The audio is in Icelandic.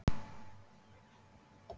Er það raunhæfur möguleiki?